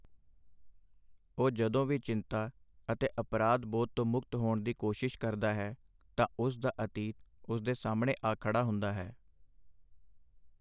ਉਹ ਜਦੋਂ ਵੀ ਚਿੰਤਾ ਅਤੇ ਅਪਰਾਧ-ਬੋਧ ਤੋਂ ਮੁਕਤ ਹੋਣ ਦੀ ਕੋਸ਼ਿਸ਼ ਕਰਦਾ ਹੈ, ਤਾਂ ਉਸ ਦਾ ਅਤੀਤ ਉਸ ਦੇ ਸਾਹਮਣੇ ਆ ਖੜਾ ਹੁੰਦਾ ਹੈ।